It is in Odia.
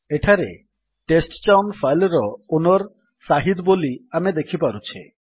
ଏଠାରେ ଟେଷ୍ଟଚାଉନ୍ ଫାଇଲ୍ ର ଓନର୍ ସାହିଦ୍ ବୋଲି ଆମେ ଦେଖିପାରୁଛେ